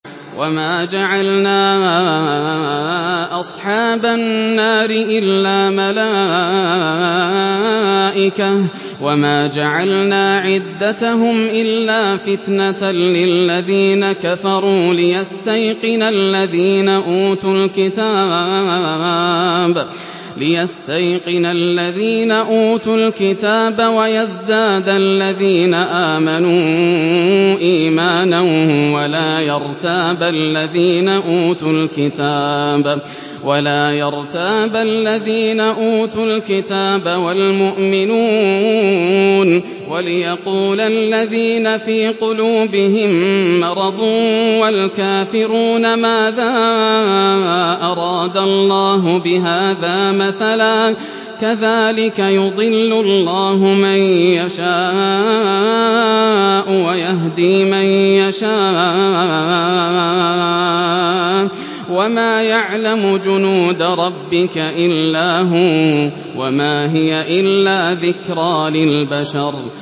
وَمَا جَعَلْنَا أَصْحَابَ النَّارِ إِلَّا مَلَائِكَةً ۙ وَمَا جَعَلْنَا عِدَّتَهُمْ إِلَّا فِتْنَةً لِّلَّذِينَ كَفَرُوا لِيَسْتَيْقِنَ الَّذِينَ أُوتُوا الْكِتَابَ وَيَزْدَادَ الَّذِينَ آمَنُوا إِيمَانًا ۙ وَلَا يَرْتَابَ الَّذِينَ أُوتُوا الْكِتَابَ وَالْمُؤْمِنُونَ ۙ وَلِيَقُولَ الَّذِينَ فِي قُلُوبِهِم مَّرَضٌ وَالْكَافِرُونَ مَاذَا أَرَادَ اللَّهُ بِهَٰذَا مَثَلًا ۚ كَذَٰلِكَ يُضِلُّ اللَّهُ مَن يَشَاءُ وَيَهْدِي مَن يَشَاءُ ۚ وَمَا يَعْلَمُ جُنُودَ رَبِّكَ إِلَّا هُوَ ۚ وَمَا هِيَ إِلَّا ذِكْرَىٰ لِلْبَشَرِ